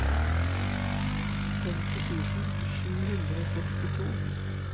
femti tusen sju hundre og sekstito